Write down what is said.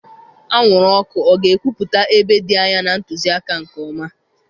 Anwụrụ ọkụ ọ ga-ekwupụta ebe dị anya na ntụzịaka nke ọma?